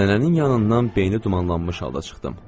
Nənənin yanından beyni dumanlanmış halda çıxdım.